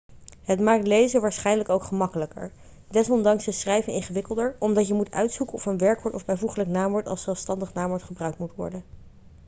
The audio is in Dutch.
het maakt lezen waarschijnlijk ook gemakkelijker desondanks is schrijven ingewikkelder omdat je moet uitzoeken of een werkwoord of bijvoeglijk naamwoord als zelfstandig naamwoord gebruikt moet worden